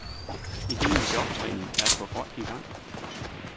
Idéen med jobtræning er at få folk i gang.